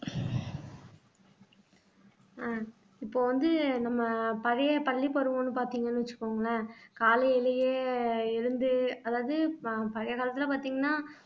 அஹ் இப்ப வந்து நம்ம பழைய பள்ளி பருவம்ன்னு பார்த்தீங்கன்னு வச்சுக்கோங்களேன் காலையிலேயே எழுந்து அதாவது ப பழைய காலத்துல பார்த்தீங்கன்னா